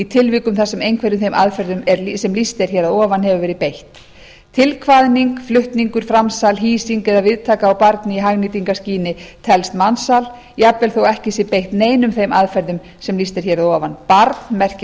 tilvikum þar sem einhverjum þeim aðferðum sem lýst er hér að ofan hefur verið beitt tilkvaðning flutningur framsal hýsing eða viðtaka á barni í hagnýtingarskyni telst mansal jafnvel þótt ekki sé beitt neinum þeim aðferðum sem lýst er hér að ofan barn merkir